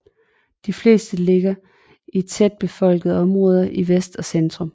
De fleste ligger i de tætbefolkede områder i vest og i centrum